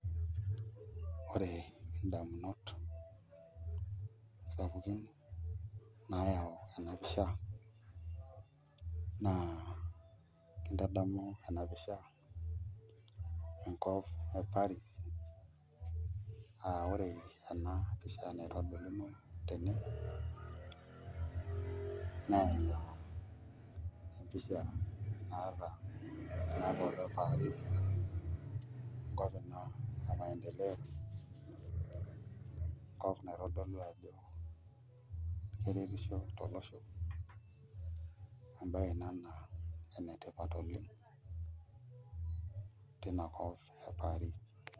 Ore ndamunot sapukin naayau ena pisha naa kintadamu ena pisha enkop e Paris aa ore ena pisha naitodoluno tene naa ina empisha naata inakop e Paris enkop ina e maendeleo enkop naitodolu ajo keretisho tolosho embayeb ina naa enetipat oleng' tinakop e Paris.